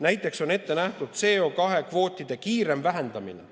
Näiteks on ette nähtud süsinikukvootide kiirem vähendamine ...